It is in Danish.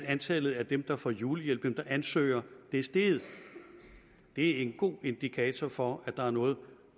antallet af dem der får julehjælp dem der ansøger er steget det er en god indikator for at der er noget